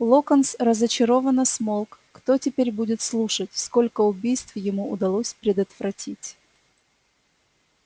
локонс разочарованно смолк кто теперь будет слушать сколько убийств ему удалось предотвратить